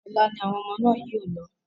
Ọ̀la ni àwọn ọmọ náà yóò lọ.